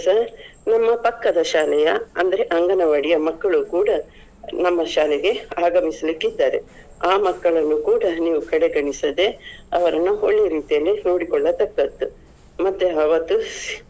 ನಿಮ್ಮ ಪಕ್ಕದ ಶಾಲೆಯ ಅಂದ್ರೆ ಅಂಗನವಾಡಿಯ ಮಕ್ಕಳು ಕೂಡ ನಮ್ಮ ಶಾಲೆಗೆ ಆಗಮಿಸಲಿಕ್ಕಿದ್ದಾರೆ. ಆ ಮಕ್ಕಳನ್ನು ಕೂಡ ನೀವು ಕಡೆಗಣಿಸದೆ ಅವರನ್ನುಒಳ್ಳೆಯ ರೀತಿಯಲ್ಲಿ ನೋಡಿಕೊಳ್ಳತಕ್ಕದ್ದು. ಮತ್ತೆ ಅವತ್ತು .